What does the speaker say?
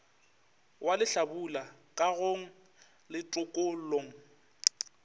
wa lehlabula kagong le tokollong